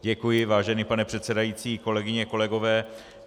Děkuji, vážený pane předsedající, kolegyně, kolegové.